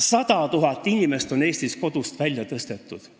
100 000 inimest on Eestis kodust välja tõstetud.